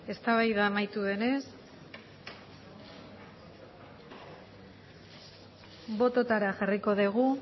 eztabaida amaitu denez bototara jarriko dugu